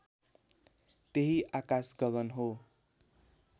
त्यही आकाश गगन हो